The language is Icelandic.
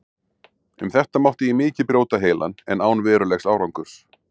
Um þetta mátti ég mikið brjóta heilann, en án verulegs árangurs.